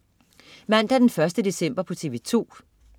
Mandag den 1. december - TV2: